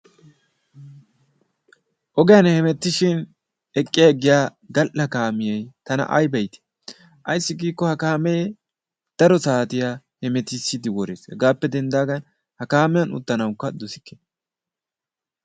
ogiyaan hemettishin eqqi aggiya gal"a kaamiyaa tana itii! ayssi giikko ha kaamee daro saatiyaa heemetisiiddi worees. hegaappe denddaagan ha kaamiyaan uttanawukka dosikke.